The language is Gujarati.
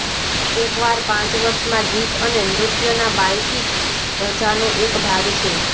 એકવાર પાંચ વર્ષમાં ગીત અને નૃત્યના બાલ્ટિક રજાનો એક ભાગ છે